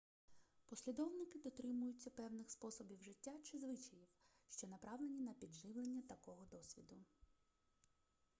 послідовники дотримуються певних способів життя чи звичаїв що направлені на підживлення такого досвіду